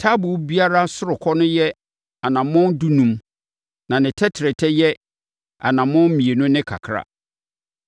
Taaboo biara ɔsorokɔ no yɛ anammɔn dunum na ne tɛtrɛtɛ nyɛ anammɔn mmienu ne kakra.